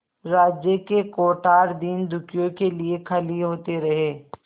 राज्य के कोठार दीनदुखियों के लिए खाली होते रहे